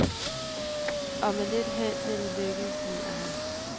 Og med lidt held vil det lykkes, mener han.